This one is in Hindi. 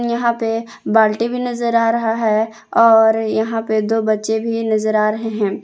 यहां पे बाल्टी भी नजर आ रहा है और यहां पे दो बच्चे भी नजर आ रहे हैं।